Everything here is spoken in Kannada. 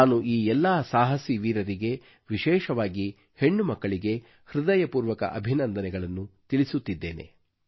ನಾನು ಈ ಎಲ್ಲಾ ಸಾಹಸಿ ವೀರರಿಗೆ ವಿಶೇಷವಾಗಿ ಹೆಣ್ಣುಮಕ್ಕಳಿಗೆ ಹೃದಯಪೂರ್ವಕ ಅಭಿನಂದನೆಗಳನ್ನು ತಿಳಿಸುತ್ತಿದ್ದೇನೆ